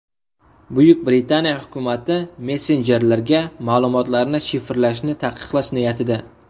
Buyuk Britaniya hukumati messenjerlarga ma’lumotlarni shifrlashni taqiqlash niyatida.